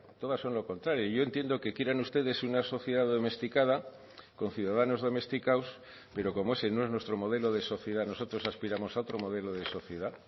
todas son lo contrario yo entiendo que quieran ustedes una sociedad domesticada con ciudadanos domesticados pero como ese no es nuestro modelo de sociedad nosotros aspiramos a otro modelo de sociedad